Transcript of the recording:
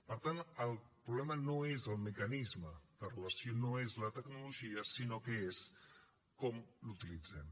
per tant el problema no és el mecanisme de relació no és la tecnologia sinó que és com l’utilitzem